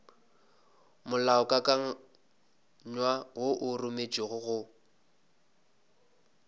molaokakanywa wo o rometšwego go